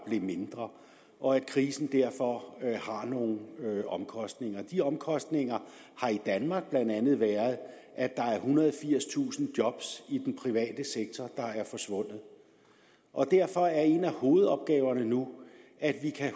blev mindre og at krisen derfor har nogle omkostninger de omkostninger har i danmark blandt andet været at der er ethundrede og firstusind job i den private sektor der er forsvundet derfor er en af hovedopgaverne nu at vi kan